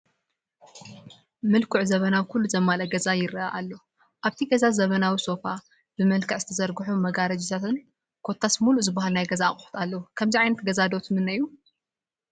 ምልኩዕ ዘበናዊ ኩሉ ዘማልአ ገዛ ይረአ ኣሎ፡፡ ኣብቲ ገዛ ዘበናዊ ሶፋ፣ ብመልክዕ ዝተዘርግሑ መጋረጂታትን ኮታስ ሙሉእ ዝባሃል ናይ ገዛ ኣቑሑ ኣለዎ፡፡ ከምዚ ዓይነት ገዛ ዶ ትምነዩ?